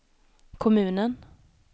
kommunen